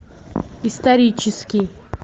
исторический